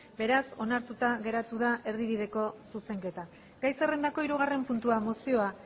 beraz onartuta geratu da erdibideko zuzenketa gai zerrendako hirugarren puntua mozioa